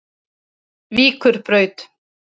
Víkurbraut